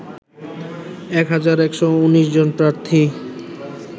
১ হাজার ১১৯ জন প্রার্থী